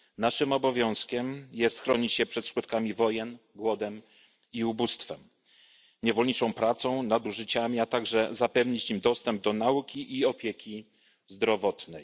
Naszym obowiązkiem jest chronić je przed skutkami wojen, głodem, ubóstwem, niewolniczą pracą i nadużyciami, a także zapewnić im dostęp do nauki i opieki zdrowotnej.